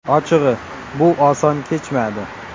Ochig‘i, bu oson kechmadi.